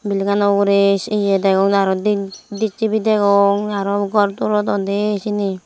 legano urey iye dewong aro dis tivi degong aro gor tulodon dey siyeni.